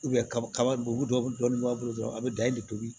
kaba dɔ bɛ dɔɔnin b'a bolo a bɛ da e de tobi